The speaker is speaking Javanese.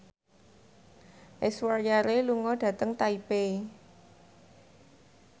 Aishwarya Rai lunga dhateng Taipei